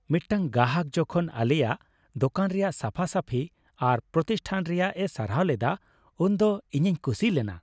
ᱢᱤᱫᱴᱟᱝ ᱜᱟᱦᱟᱠ ᱡᱚᱠᱷᱚᱱ ᱟᱞᱮᱭᱟᱜ ᱫᱳᱠᱟᱱ ᱨᱮᱭᱟᱜ ᱥᱟᱯᱷᱟᱼᱥᱟᱯᱷᱤ ᱟᱨ ᱯᱨᱚᱛᱤᱥᱴᱷᱟᱱ ᱨᱮᱭᱟᱜ ᱮ ᱥᱟᱨᱦᱟᱣ ᱞᱮᱫᱟ ᱩᱱᱫᱚ ᱤᱧᱤᱧ ᱠᱩᱥᱤ ᱞᱮᱱᱟ ᱾